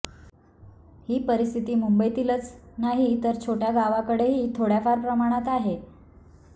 ही परिस्थिती मुंबईतीलच नाही तर छोट्या गावाकडेही थोड्याफार प्रमाणात आहे